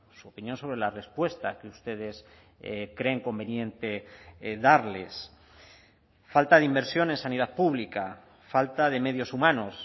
su opinión sobre la respuesta que ustedes creen conveniente darles falta de inversión en sanidad pública falta de medios humanos